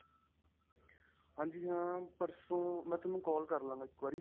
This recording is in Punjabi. ਹਾਂਜੀ ਹਾਂ ਪਰਸੋਂ ਮੈਂ ਤੁਹਾਨੂੰ call ਕਰਲਾਂਗਾ ਇੱਕ ਵਾਰੀ.